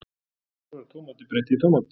Þar var Tómati breytt í tómat.